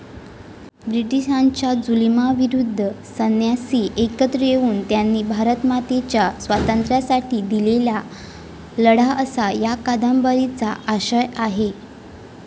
ब्रिटिशांच्या जुलुमाविरुद्ध संन्यासी एकत्र येऊन त्यांनी भारतमातेच्या स्वातंत्र्यासाठी दिलेला लढा असा या कादंबरीचा आशय आहे.